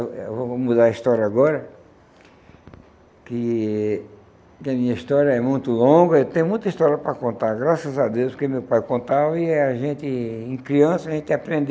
eh eu vou mudar a história agora, que que a minha história é muito longa, eu tenho muita história para contar, graças a Deus, porque meu pai contava e a gente, em criança, a gente aprende.